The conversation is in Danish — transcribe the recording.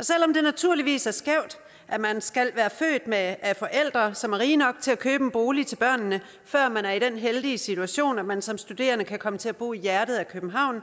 selv om det naturligvis er skævt at man skal være født af af forældre som er rige nok til at købe en bolig til børnene før man er i den heldige situation at man som studerende kan komme til at bo i hjertet af københavn